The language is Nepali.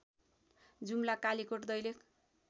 जुम्ला कालिकोट दैलेख